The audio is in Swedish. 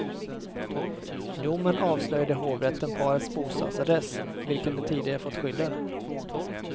I domen avslöjade hovrätten parets bostadsadress, vilken de tidigare fått skyddad.